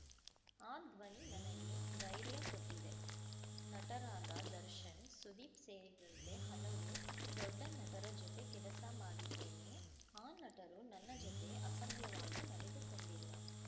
ಆ ಧ್ವನಿ ನನಗೆ ಧೈರ್ಯ ಕೊಟ್ಟಿದೆ ನಟರಾದ ದರ್ಶನ್‌ ಸುದೀಪ್‌ ಸೇರಿದಂತೆ ಹಲವು ದೊಡ್ಡ ನಟರ ಜೊತೆ ಕೆಲಸ ಮಾಡಿದ್ದೇನೆ ಆ ನಟರು ನನ್ನ ಜೊತೆ ಅಸಭ್ಯವಾಗಿ ನಡೆದುಕೊಂಡಿಲ್ಲ